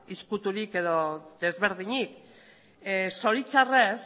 ezkuturik edo desberdinik zoritzarrez